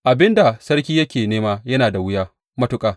Abin da sarki yake nema yana da wuya matuƙa.